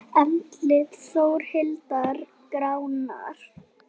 Andlit Þórhildar gránar.